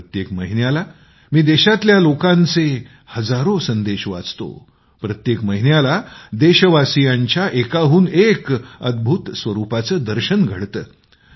प्रत्येक महिन्याला मी देशातल्या लोकांची हजारो संदेश वाचतो प्रत्येक महिन्याला देशवासियांच्या एकाहून एक अद्भुत स्वरूपाचं दर्शन घडतं